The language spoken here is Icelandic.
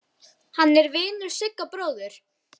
Hann er vinur Sigga bróður.